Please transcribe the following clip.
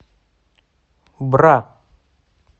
бра